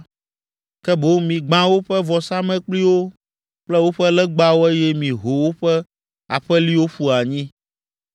Ke boŋ migbã woƒe vɔsamlekpuiwo kple woƒe legbawo eye miho woƒe aƒeliwo ƒu anyi,